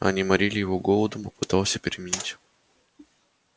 они морили его голодом попытался переменить